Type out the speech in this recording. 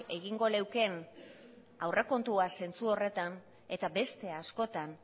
egingo leukeen aurrekontua zentzu horretan eta beste askotan